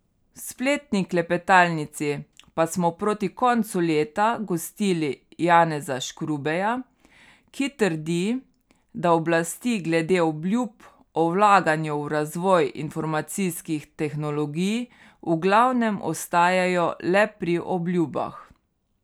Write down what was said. V spletni klepetalnici pa smo proti koncu leta gostili Janeza Škrubeja, ki trdi, da oblasti glede obljub o vlaganju v razvoj informacijskih tehnologij v glavnem ostajajo le pri obljubah.